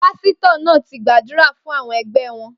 Pasitọ naa ti gbadura fun awọn ẹgbẹ wọn